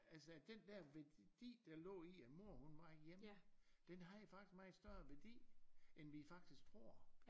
Altså den der værdi der lå i at mor hun var hjemme den har jo faktisk meget større værdi end vi faktisk tror